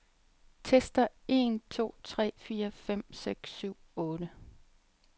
Tester en to tre fire fem seks syv otte.